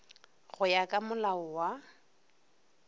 go ya ka molao wa